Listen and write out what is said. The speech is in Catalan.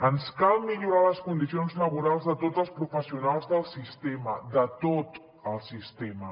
ens cal millorar les condicions laborals de tots els professionals del sistema de tot el sistema